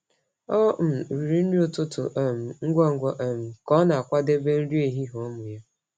Ọ um riri nri ụtụtụ um ngwa ngwa um ka ọ na-akwadebe nri ehihie ụmụ ya.